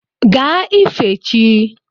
Gaa ife chi!